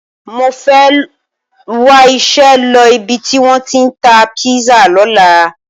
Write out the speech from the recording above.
Mo fẹ́ wá iṣẹ́ lọ ibi tí wọ́n tí ń ta písà lọ́la.